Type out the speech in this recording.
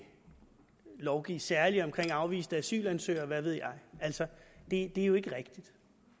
lovgive særligt om afviste asylansøgere og hvad ved jeg altså det er jo ikke rigtigt